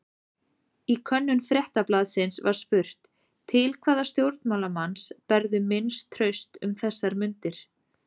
Í könnun Fréttablaðsins var spurt: Til hvaða stjórnmálamanns berðu minnst traust um þessar mundir?